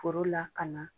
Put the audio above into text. Foro lakana